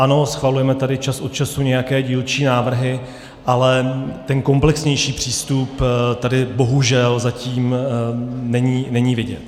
Ano, schvalujeme tady čas od času nějaké dílčí návrhy, ale ten komplexnější přístup tady bohužel zatím není vidět.